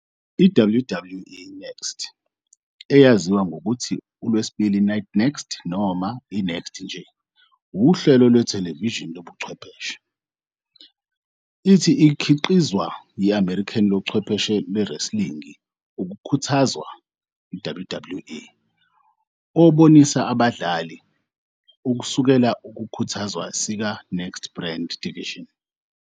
I-WWE NXT, eyaziwa nangokuthi uLwesibili Night NXT noma i- NXT nje, wuhlelo lwethelevishini lobuchwepheshe. It ikhiqizwa yi-American lochwepheshe wrestling ukukhuthazwa WWE, obonisa abadlali kusukela ukukhuthazwa sika NXT brand division.